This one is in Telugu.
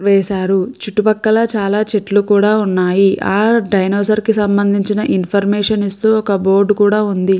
వేశారు చుట్టుపక్కల చాలా చెట్లు కూడా ఉన్నాయి ఆ డైనోసార్ కి సంబంధించిన ఇన్ఫర్మేషన్ ఇస్తూ ఒక బోర్డు కూడా ఉంది.